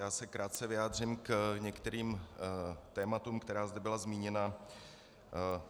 Já se krátce vyjádřím k některým tématům, která zde byla zmíněna.